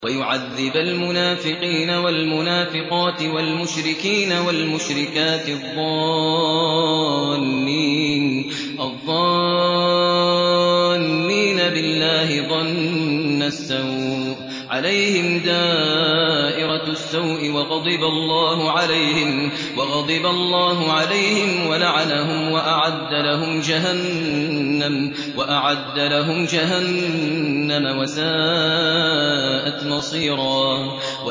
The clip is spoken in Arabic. وَيُعَذِّبَ الْمُنَافِقِينَ وَالْمُنَافِقَاتِ وَالْمُشْرِكِينَ وَالْمُشْرِكَاتِ الظَّانِّينَ بِاللَّهِ ظَنَّ السَّوْءِ ۚ عَلَيْهِمْ دَائِرَةُ السَّوْءِ ۖ وَغَضِبَ اللَّهُ عَلَيْهِمْ وَلَعَنَهُمْ وَأَعَدَّ لَهُمْ جَهَنَّمَ ۖ وَسَاءَتْ مَصِيرًا